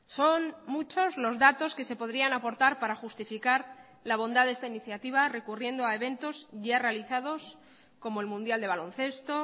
son muchos los datos que se podrían aportar para justificar la bondad de esta iniciativa recurriendo a eventos ya realizados como el mundial de baloncesto